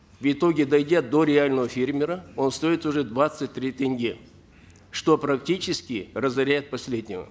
в итоге дойдя до реального фермера он стоит уже двадцать три тенге что практически разоряет последнего